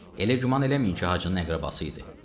Elə güman eləməyin ki, Hacının əqrəbası idi.